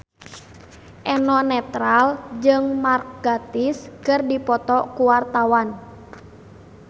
Eno Netral jeung Mark Gatiss keur dipoto ku wartawan